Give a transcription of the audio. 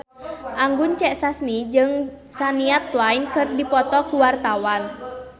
Anggun C. Sasmi jeung Shania Twain keur dipoto ku wartawan